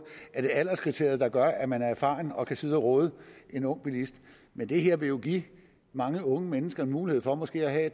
alderskriteriet der gør at man er erfaren og kan sidde og råde en ung bilist men det her vil jo give mange unge mennesker en mulighed for måske at